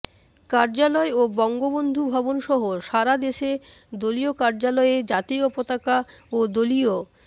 কার্যালয় ও বঙ্গবন্ধু ভবনসহ সারাদেশে দলীয় কার্যালয়ে জাতীয় পতাকা ও দলীয়